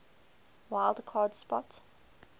wild card spot